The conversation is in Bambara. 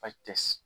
tɛ